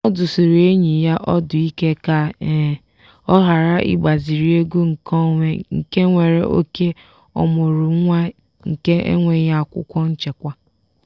ọ dụsiri enyi ya ọdụ ike ka ọ ghara ịgbaziri ego nkeonwe nke nwere oke ọmụrụ nwa nke enweghi akwụkwọ nchekwa.